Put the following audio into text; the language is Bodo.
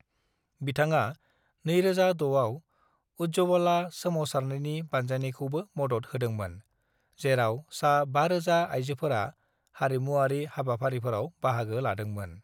बिथाङा 2006 आव उज्जवला सोमावसारनायनि बानजायनायखौबो मदद होदोंमोन, जेराव सा-5000 आइजोफोरा हारिमुआरि हाबाफारिफोराव बाहागो लादोंमोन।